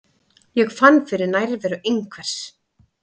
Ég fann fyrir nærveru einhvers.